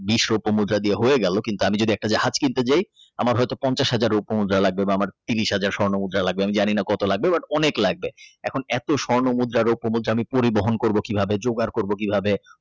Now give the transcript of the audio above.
বিস্ রূপমুদ্রা দিয়ে হয়ে গেল কিন্তু আমি একটা যদি জাহাজ কিনতে যাই দেখা গেল পঞ্চাশ হাজার রুপমুদ্রা লাগবে বা আমার ত্রিশ হাজার স্বর্ণ মুদ্রা লাগবে আমি জানিনা কত লাগবে বাট অনেক লাগবে এখন এত স্বর্ণমুদ্র রূপমুদ্রা পরিবহন করবো কিভাবে জোগাড় করবো কিভাবে।